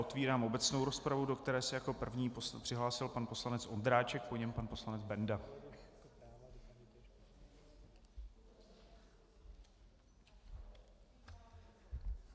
Otevírám obecnou rozpravu, do které se jako první přihlásil pan poslanec Ondráček, po něm pan poslanec Benda.